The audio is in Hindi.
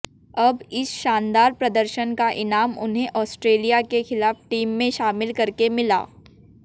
अब इस शानदार प्रदर्शन का इनाम उन्हें ऑस्ट्रेलिया के खिलाफ टीम में शामिल करके मिला